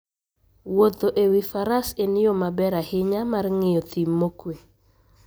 Wuotho e wi faras en yo maber ahinya mar ng'iyo thim mokuwe.